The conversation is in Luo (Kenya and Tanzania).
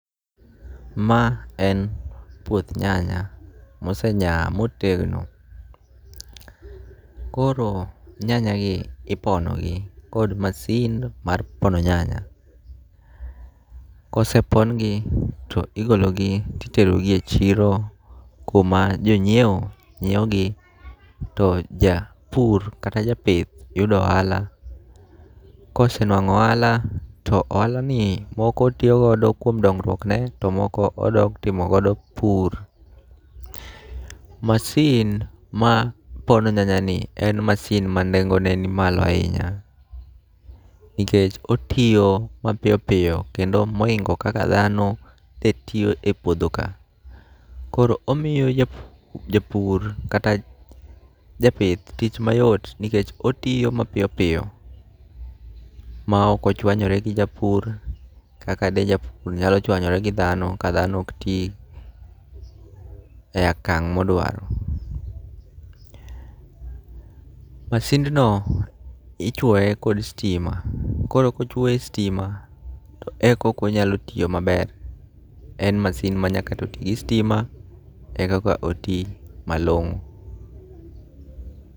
Ma en puoth nyanya mose nya motegno. Koro nyanya gi ipono gi kod masin mar pono nyanya. Kosepon gi to igologi titerogi e chiro kuma jonyiewo nyiewo gi, to ja pur kata ja pith yudo ohala. Kose nwang'o ohala, to ohala ni moko tiyo godo kuom dongruok ne to moko odok timogodo pur. Masin ma pono nyanya ni en masin ma nengone ni malo ahinya, nikech otiyo mapiyo piyo kendo moingo kaka dhano te tiyo e puodho ka. Koro omiyo japur kata japith tich mayot, nikech otiyo mapiyo piyo ma ok ochwanyore gi japur. Kaka de japur nyalo chwanyore gi dhano ka dhano ok ti e akang' modwaro. Masindno ichwoye kod stima, koro kochwoye e stima to ekoko nya tiyo maber. En masin ma nyaka to ti gi stima, ekaka oti malong'o.